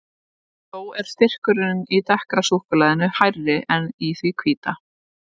Þó er styrkurinn í dekkra súkkulaðinu hærri en í því hvíta.